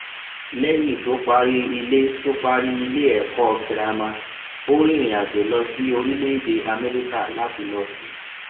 léyìn tó parí ilé tó parí ilé èkó girama ó rìnrìn àjò lọ sí orílèèdè améríkà láti lọ sí